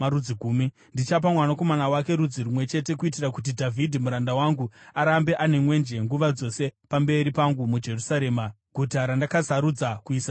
Ndichapa mwanakomana wake rudzi rumwe chete kuitira kuti Dhavhidhi muranda wangu arambe ane mwenje nguva dzose pamberi pangu muJerusarema, guta randakasarudza kuisa Zita rangu.